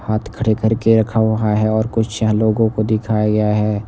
हाथ खड़े करके रखा हुआ है और कुछ यहां लोगों को दिखाया गया है।